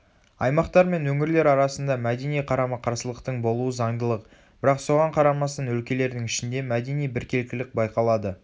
аймақтар мен өңірлер арасында мәдени қарама-қарсылықтың болуы заңдылық бірақ соған қарамастан өлкелердің ішінде мәдени біркелкілік байқалады